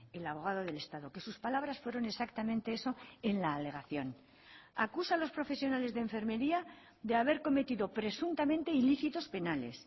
el abogado del estado que sus palabras fueron exactamente eso en la alegación acusa a los profesionales de enfermería de haber cometido presuntamente ilícitos penales